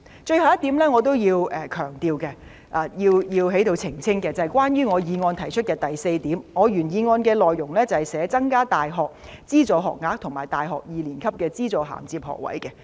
最後一點，我要強調及想在這裏澄清的是，關於原議案的第四點，原議案的內容是，"增加大學資助學額和大學二年級的資助銜接學額"。